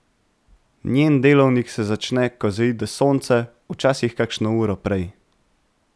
Njen delovnik se začne, ko zaide sonce, včasih kakšno uro prej.